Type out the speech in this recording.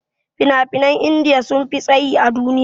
Fina-finan india sunfi tsayi a duniya.